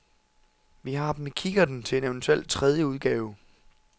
Vi har dem i kikkerten til en eventuelt tredje udgave.